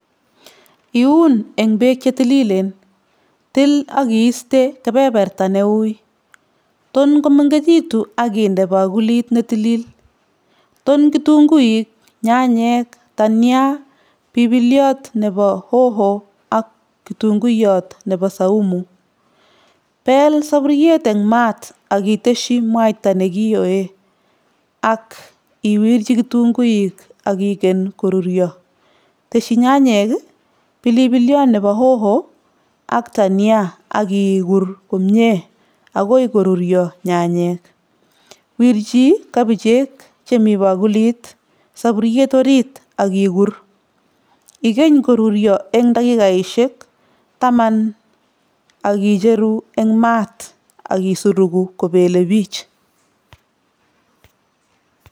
Iun eng beek che tililen, til ak iiste kebeberta ne ui, ton komengekitu ak inde pakulit ne tilil, ton kitunguik, nyanyek , tania, bipiliot ne bo hoho ak kitunguyot nebo saumu, bel saburiet eng maat ak itesyi mwaita ne kioe ak iwirji kitunguik ak igen koruryo, tesyi nyanyek, bilipiliot nebo hoho ak tania ak ikur komie akoi koruryo nyanyek, wirji kabicheek chemi pakulit saburiet orit ak ikur, ikeny koruryo eng dakikaishek taman ak icheru eng maat ak isuruku kopelebich.